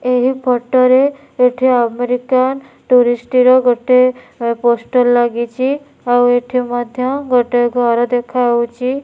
ଏହି ଫୋଟ ରେ ସେଠି ଆମେରିକାନ ଟୁରିଷ୍ଟ ର ଗୋଟେ ପୋଷ୍ଟର ଲାଗିଛି ଆଉ ଏଠି ମଧ୍ୟ ଗୋଟେ ଘର ଦେଖା ହୋଉଛି।